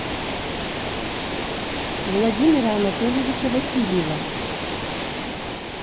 владимира анатольевича васильева